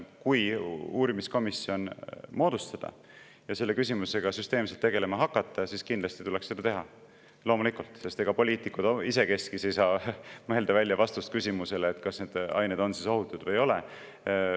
Kui uurimiskomisjon moodustada ja selle küsimusega süsteemselt tegelema hakata, siis kindlasti tuleks seda teha, loomulikult, sest ega poliitikud isekeskis ei saa mõelda välja vastust küsimusele, kas need ained on ohutud või ei ole.